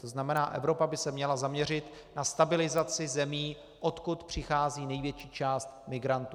To znamená, Evropa by se měla zaměřit na stabilizaci zemí, odkud přichází největší část migrantů.